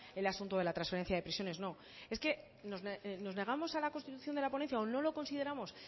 del asunto de la trasferencia de prisiones no es que nos negamos a la constitución de la ponencia o lo no lo consideramos